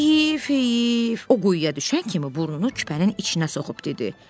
Heeyif, heeyif, o quyuya düşən kimi burnunu küpənin içinə soxub dedi: